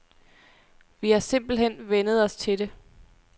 Vi har simpelthen vænnet os til det.